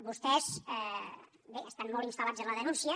vostès bé estan molt instal·lats en la denúncia